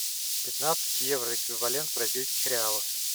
пятнадцать евро эквивалент в бразильских реалах